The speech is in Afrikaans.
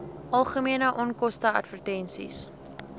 algemene onkoste advertensies